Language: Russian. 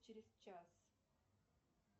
через час